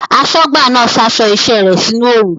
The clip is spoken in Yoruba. Aṣọ́gbà náà sa aṣọ iṣẹ́ rẹ̀ sínú oòrùn